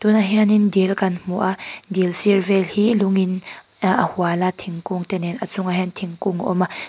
tunah hianin dil kan hmu a dil sir vel hi lungin a hual a thingkung te nen a chungah hian thingkung a awm a.